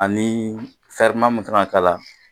Ani min kan ka k'a la